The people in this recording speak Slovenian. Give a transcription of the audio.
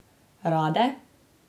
Rade?